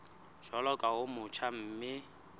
jwalo ka o motjha mme